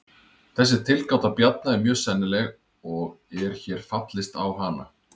Þessi tilgáta Bjarna er mjög sennileg og er hér fallist á hana.